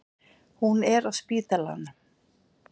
Hún er á spítalanum.